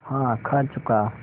हाँ खा चुका